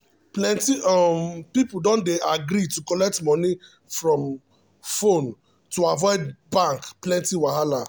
plenty um um people don dey agree to collect money from um phone um to avoid bank plenty wahala.